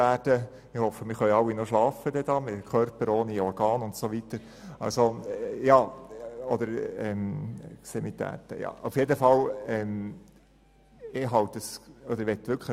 Ich hoffe, wir alle können noch schlafen, trotz der Körper ohne Extremitäten und so weiter.